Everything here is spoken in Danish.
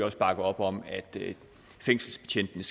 også bakke op om at fængselsbetjentene